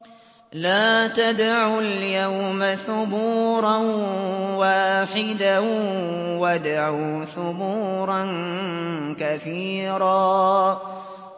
لَّا تَدْعُوا الْيَوْمَ ثُبُورًا وَاحِدًا وَادْعُوا ثُبُورًا كَثِيرًا